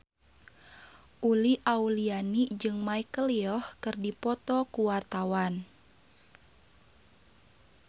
Uli Auliani jeung Michelle Yeoh keur dipoto ku wartawan